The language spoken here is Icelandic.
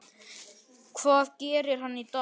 Hvað gerir hann í dag?